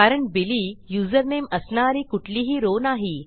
कारण Billy username असणारी कुठलीही रॉव नाही